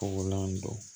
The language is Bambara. Kɔgɔlan don